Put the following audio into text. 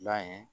La ye